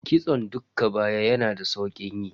Kitson dukka baya yana da saukin yi.